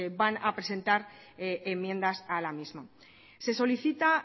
van a presentar enmiendas a la misma se solicita